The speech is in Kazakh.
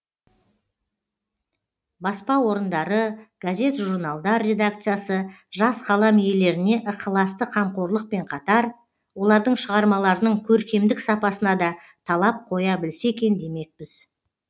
баспа орындары газет журналдар редакциясы жас қалам иелеріне ықыласты қамқорлықпен қатар олардың шығармаларының көркемдік сапасына да талап қоя білсе екен демекпіз